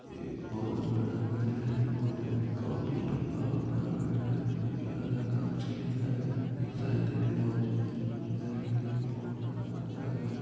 एक बोहोत बड़ा घर है ओर काफी लोग बहुत बड़ा घर है इस मे भी आधा काम चल ही रहा है यह शायद एक लोज जिसमे रहने के लिए बहुत ज्यादा कमरा है।